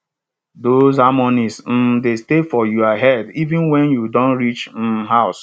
those harmonies um dey stay for your head even wen you don reach um house